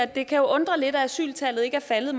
det kan jo undre lidt at asyltallet ikke er faldet